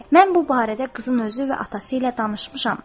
Mən bu barədə qızın özü və atası ilə danışmışam.